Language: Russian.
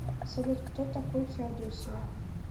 салют кто такой феодосия